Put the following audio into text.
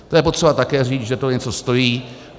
To je potřeba také říct, že to něco stojí.